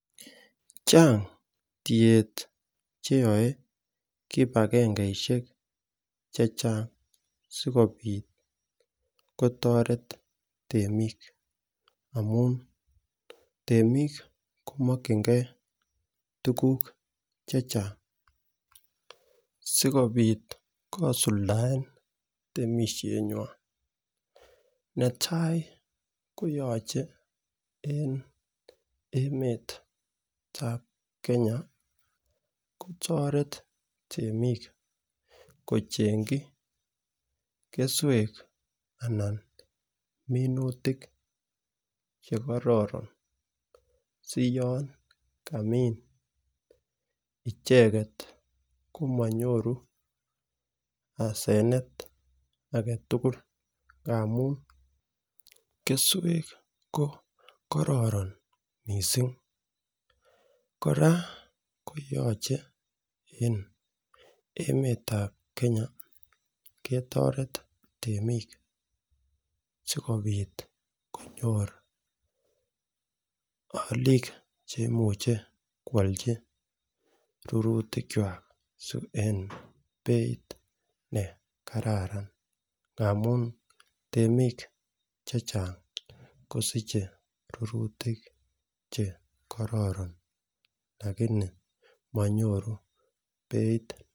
Chang' tiet che yae kip agengeishek che chang' si kopit kotaret temiik. Amu temiik ko makchingeituguk che chang si kopit kosuldaen temishenwan. Netai ko yache en emetap Kenya kotaret temik ko cheng'chi keswek anan minutik che kararan si yan kamin icheget komanyoru asenet age tugul ngamun keswek ko kararan missing'. Kora ko yachen en emet ap Kenya ketaret temik asikopit konyor aliik che imuchi koalchi rurutikwak eng' peit ne kararan ngamun temik che chang' kosiche rurutik che kararan lakini manyoru peit.